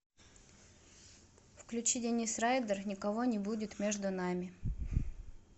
включи денис райдер никого не будет между нами